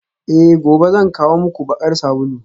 Eh gobe zan kawo muku bakar sabulu